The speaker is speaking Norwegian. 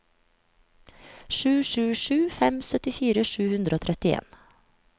sju sju sju fem syttifire sju hundre og trettien